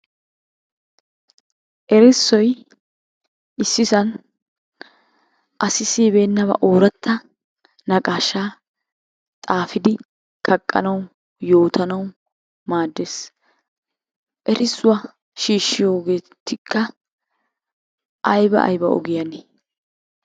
Erssoy issisan asi siyibennaba ooratta naqaashaa xaafiddi kaqqanawu yootanaw maades. Ersuwaa shiishyogetikka ayba ayba ogiyanne?